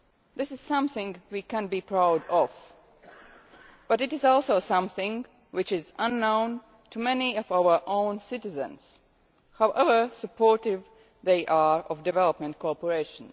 This is something we can be proud of, but it is also something which is unknown to many of our own citizens, however supportive they are of development cooperation.